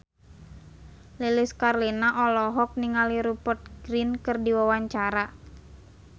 Lilis Karlina olohok ningali Rupert Grin keur diwawancara